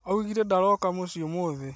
Augire ndaroka mũciĩ ũmũthĩ